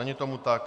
Není tomu tak.